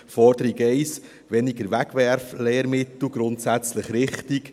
Forderung 1, weniger Wegwerflehrmittel: grundsätzlich richtig.